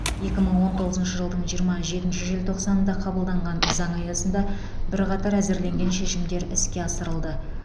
екі мың он тоғызыншы жылдың жиырма жетінші желтоқсанында қабылданған заң аясында бірқатар әзірленген шешімдер іске асырылды